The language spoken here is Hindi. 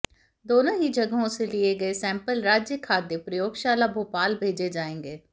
दोनों ही जगहों से लिये गए सैंपल राज्य खाद्य प्रयोग शाला भोपाल भेजे जाएंगे